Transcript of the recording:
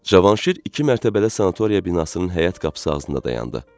Cavanşir iki mərtəbəli sanatoriya binasının həyət qapısı ağzında dayandı.